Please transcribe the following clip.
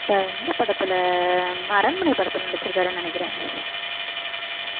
வேற எந்த படத்துல அந்த அரண்மனை படத்துல நடிச்சிருக்காருன்னு நினைக்கிறேன்